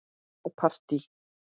Og partí.